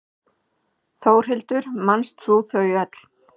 Þórhildur: Manst þú þau öll?